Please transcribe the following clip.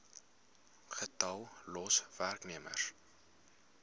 getal los werknemers